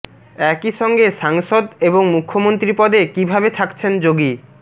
একই সঙ্গে সাংসদ এবং মুখ্যমন্ত্রী পদে কীভাবে থাকছেন যোগী